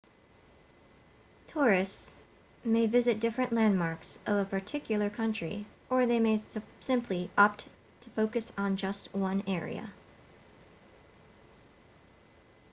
tourists may visit different landmarks of a particular country or they may simply opt to focus on just one area